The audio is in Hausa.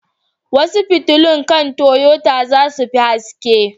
Wasu fitilun kan Toyota za su fi haske.